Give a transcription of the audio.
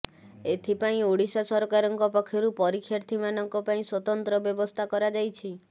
ଏଥିପାଇଁ ଓଡ଼ିଶା ସରକାରଙ୍କ ପକ୍ଷରୁ ପରୀକ୍ଷାର୍ଥୀମାନଙ୍କ ପାଇଁ ସ୍ୱତନ୍ତ୍ର ବ୍ୟବସ୍ଥା କରାଯାଇଛି